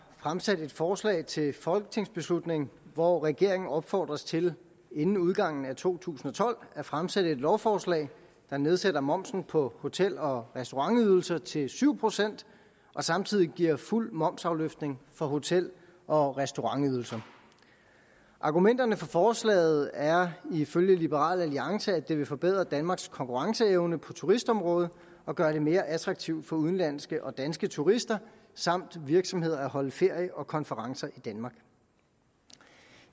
fremsat et forslag til folketingsbeslutning hvor regeringen opfordres til inden udgangen af to tusind og tolv at fremsætte et lovforslag der nedsætter momsen på hotel og restaurantydelser til syv procent og samtidig giver fuld momsafløftning på hotel og restaurantydelser argumenterne for forslaget er ifølge liberal alliance at det vil forbedre danmarks konkurrenceevne på turistområdet og gøre det mere attraktivt for udenlandske og danske turister samt virksomheder at holde ferie og konferencer i danmark